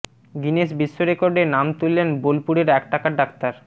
Guinness বিশ্ব রেকর্ডে নাম তুললেন বোলপুরের এক টাকার ডাক্তার